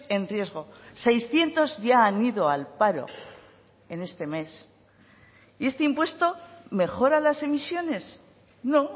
en riesgo seiscientos ya han ido al paro en este mes y este impuesto mejora las emisiones no